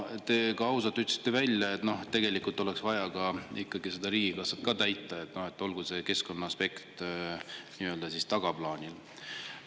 Te ütlesite ausalt välja, et tegelikult oleks vaja ka riigikassat täita ja olgu see keskkonnaaspekt tagaplaanil.